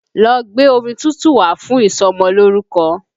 Lọ́ gbé omi tútù wá fún ìsọmọlórúkọ!